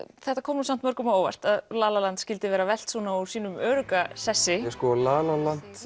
þetta kom nú samt mörgum á óvart að Lalaland skyldi vera velt úr sínum örugga sessi